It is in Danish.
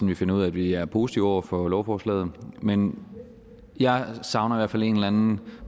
vi finder ud af at vi er positive over for lovforslaget men jeg savner i hvert fald en eller anden